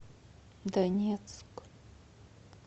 донецк